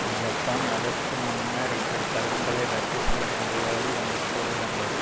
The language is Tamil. ஜப்பான் அதற்கு முன்னர் இப்படி கடன்களை ரத்து செய்ய முடியாது என்று கூறிவந்தது